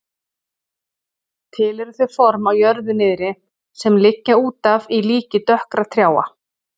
Til eru þau form á jörðu niðri sem liggja útaf í líki dökkra trjáa.